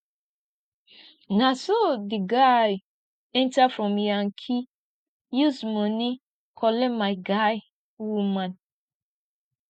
na so di guy enta from yankee use moni collect my guy woman